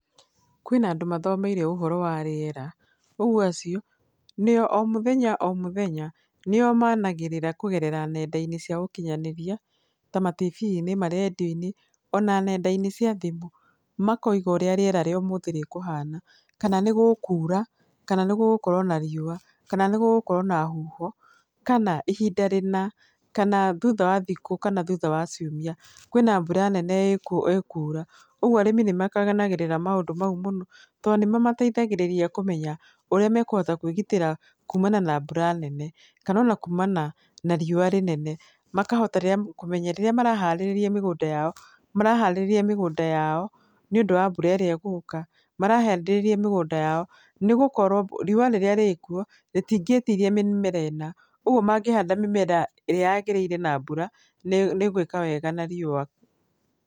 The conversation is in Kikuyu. Kwĩna andũ mathomeire ũhoro wa rĩera, ũguo acio, nĩo o mũthenya o mũthenya nĩo managĩrĩra kũgerera nenda-inĩ cia ũkinyanĩria ta matiibi-inĩ , marendiũ-inĩ ona nenda-nĩ cia thimũ makoiga ũrĩa rĩera rĩa ũmũthĩ rĩkũhana, kana nĩgũkura kana nĩ gũgũkorwo na riũa kana nĩgũgũkorwo na huho kana ihinda rĩna kana thutha wa thikũ kana thutha wa ciumia kwĩna mbura nene ĩkura, ũguo arĩmi nĩ makenagĩrĩra maũndũ mau mũno tondũ nĩ mamateithagĩrĩria kũmenya ũrĩa me kũhota kwĩgitĩra kumana na mbura nene, kana ona kumana na riũa rĩnene makahota kũmenya rĩrĩa maraharĩrĩria mĩgũnda yao, maraharĩrĩria mĩgũnda yao nĩũndũ wa mbura ĩrĩa ĩgũka, marahandĩrĩrĩria mĩgũnda yao nĩ gũkorwo riũa rĩrĩa rĩkuo rĩtingĩtiria mĩmera ĩna, ũguo mangĩhanda mĩmera ĩrĩa yagĩrĩire na mbura nĩ ĩgwĩka wega na riũa.